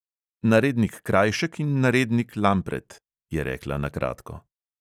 "Narednik krajšek in narednik lampret," je rekla na kratko.